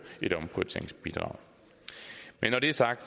et omprioriteringsbidrag men når det er sagt